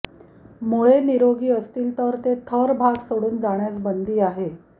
मुळे निरोगी असतील तर ते थर भाग सोडून जाण्यास बंदी आहे